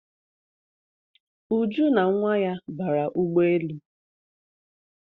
Uju na nwa ya bara ụgbọelu